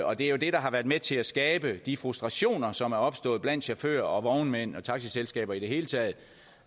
og det er jo det der har været med til at skabe de frustrationer som er opstået blandt chauffører og vognmænd og taxiselskaber i det hele taget